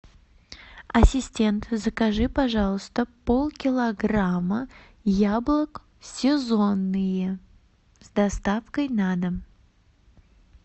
ассистент закажи пожалуйста полкилограмма яблок сезонные с доставкой на дом